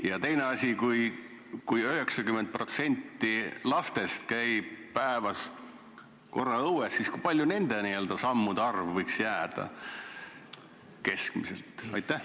Ja teine asi: kui 90% lastest käib päevas korra õues, siis kui suur nende sammude arv keskmiselt võiks olla?